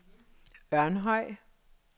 Ørnhøj